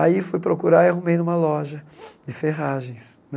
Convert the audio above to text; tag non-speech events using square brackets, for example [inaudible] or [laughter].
Aí fui procurar e arrumei numa loja [sniffs] de ferragens né.